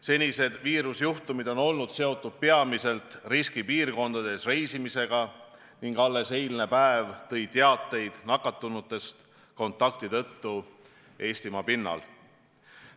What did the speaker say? Senised nakkusjuhtumid on olnud seotud peamiselt riskipiirkondades reisimisega ning alles eile kuulsime nakatunutest kontakti tõttu Eestimaa pinnal.